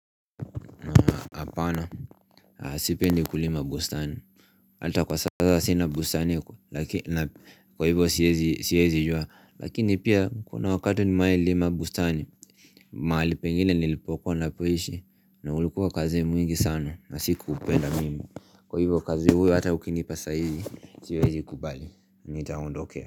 Apana, sipendi kulima bustani. Hata kwa sasa sina bustani, kwa hivyo siezi jua. Lakini pia, kuna wakati nimeailima bustani, mahali pengine nilipokuwa napoishi, na ulikuwa kazi mwingi sana, na sikuupenda mimi. Kwa hivyo, kazi huyo hata ukinipa saizi, siwezi kubali, nitaondokea.